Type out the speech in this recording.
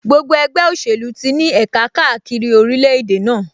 Gbogbo ẹgbẹ́ òṣèlú ti ní ẹ̀ka káàkiri orílẹ̀-èdè náà